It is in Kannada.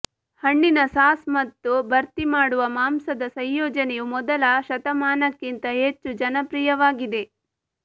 ಹಣ್ಣಿನ ಸಾಸ್ ಮತ್ತು ಭರ್ತಿಮಾಡುವ ಮಾಂಸದ ಸಂಯೋಜನೆಯು ಮೊದಲ ಶತಮಾನಕ್ಕಿಂತ ಹೆಚ್ಚು ಜನಪ್ರಿಯವಾಗಿದೆ